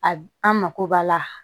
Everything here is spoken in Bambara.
A an mako b'a la